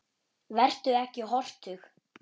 Vertu ekki hortug.